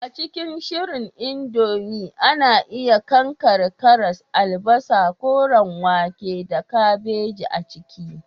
A cikin shirya indomie, ana iya daskare karas, albasa, koren wake, da kabeji a ciki.